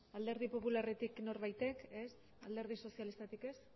alderdi popularretik norbaitek ez alderdi sozialistatik ez